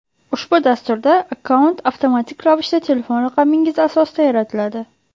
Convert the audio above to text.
Ushbu dasturda akkaunt avtomatik ravishda telefon raqamingiz asosida yaratiladi.